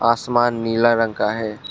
आसमान नीला रंग का है।